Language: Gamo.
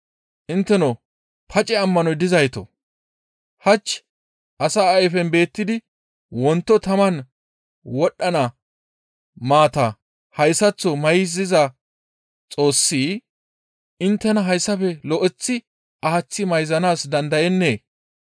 Intteno pace ammanoy dizaytoo! Hach asa ayfen beettidi wonto taman wodhdhana maata hayssaththo mayziza Xoossi inttena hessafe lo7eththi aaththi mayzanaas dandayennee?